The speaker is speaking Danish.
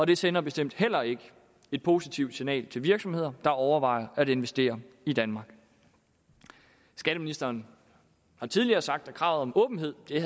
det sender bestemt heller ikke et positivt signal til virksomheder der overvejer at investere i danmark skatteministeren har tidligere sagt at kravet om åbenhed har